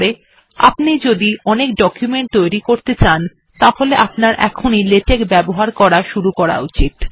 আপনি যদি আপনার জীবনে অনেক ডকুমেন্ট তৈরী করতে চান তাহলে আপনার এখনি লেটেক্ ব্যবহার শুরু করা উচিত